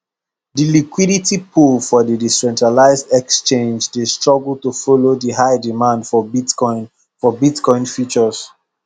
the liquidity pool for the decentralized exchange dey struggle to follow the high demand for bitcoin for bitcoin futures